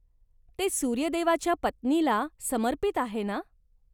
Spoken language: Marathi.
ते सूर्य देवाच्या पत्नीला समर्पित आहे ना?